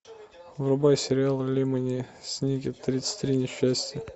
врубай сериал лемони сникет тридцать три несчастья